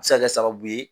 A bɛ se ka kɛ sababu ye